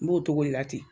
N b'o cogo de la ten